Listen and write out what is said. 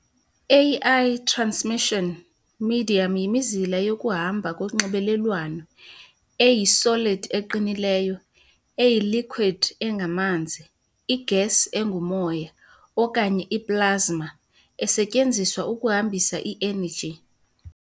A I-transmission medium yimizila yokuhamba konxibelelwano, eyi-solid eqinileyo, eyi-liquid engamanzi, i-gas engumoya, okanye i-plasma, esetyenziswa ukuhambisa i-energy.